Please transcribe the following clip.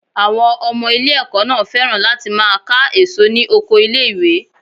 Àwọn ọmọ ilé ẹ̀kọ́ náà féràn láti máa ká èso ní oko ilé ìwé.